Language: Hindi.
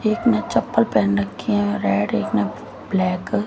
एक ने चप्पल पहन रखी है रेड एक ने ब्लैक --